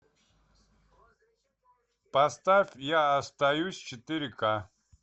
поставь я остаюсь четыре ка